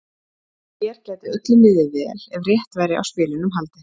Hér gæti öllum liðið vel ef rétt væri á spilunum haldið.